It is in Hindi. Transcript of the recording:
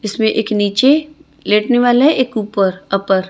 इसमें एक नीचे लेटने वाला है एक ऊपर अपर ।